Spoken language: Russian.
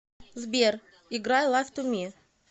сбер играй лайф ту ми